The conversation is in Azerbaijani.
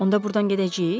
Onda burdan gedəcəyik?